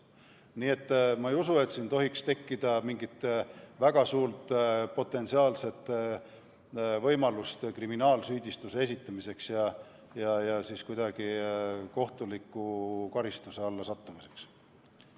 Nii et ma ei usu, et siin saaks tekkida mingit väga suurt potentsiaalset võimalust kriminaalsüüdistuse esitamiseks ja kuidagi kohtuliku karistuse alla sattumiseks.